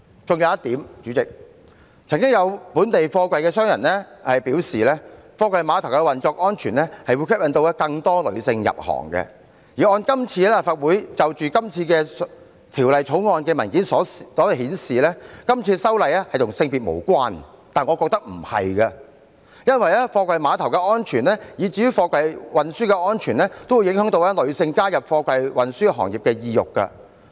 還有一點，代理主席，曾經有本地貨櫃商人表示，貨櫃碼頭運作安全會吸引更多女性入行，而按立法會就今次《條例草案》的文件所顯示，今次修例與性別無關，但我認為非也，因為貨櫃碼頭安全以至貨櫃運輸安全均會影響女性加入貨櫃運輸行業的意欲。